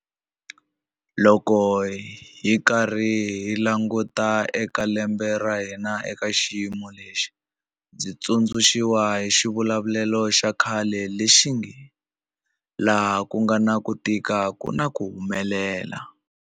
Loko hi karhi hi languta eka lembe ra hina eka xiyimo lexi, ndzi tsundzuxiwa hi xivulavulelo xa khale lexi nge 'laha ku nga na ku tika ku na ku humelel'.